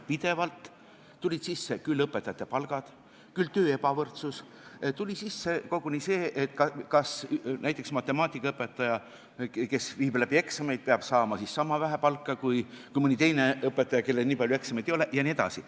Pidevalt tulid sisse küll õpetajate palgad, küll töö ebavõrdsus, tuli sisse koguni see, kas näiteks matemaatikaõpetaja, kes viib läbi eksameid, peab saama sama vähe palka kui mõni teine õpetaja, kellel nii palju eksameid ei ole jne.